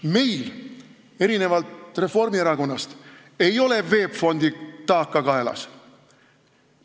Meil erinevalt Reformierakonnast ei ole VEB Fondi taaka kaelas.